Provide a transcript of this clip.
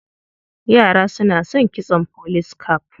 Yara suna son kitson police cap.